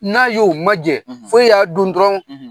N'a y'o ma jɛ , fo e y'a dun dɔrɔn